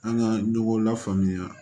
An ka ɲɔgɔn lafaamuya